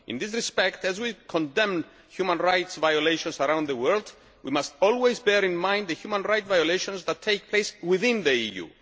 In this respect, as we condemn human rights violations around the world, we must always bear in the mind the human rights violations that take place within the EU.